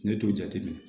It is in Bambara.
Ne t'o jateminɛ